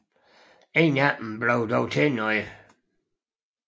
Ingen af dem blev dog til noget